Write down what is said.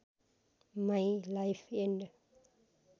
my life and